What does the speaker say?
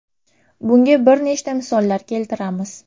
Bunga bir nechta misollar keltiramiz.